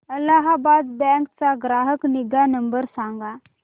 Allahabad bank चा ग्राहक निगा नंबर सांगा